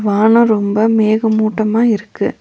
வானோ ரொம்ப மேக மூட்டமா இருக்கு.